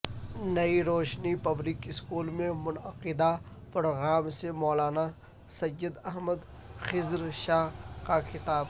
نئی Roshni public school میں منعقدہ پروگرام سے مولانا سید احمد خضر شاہ کا خطاب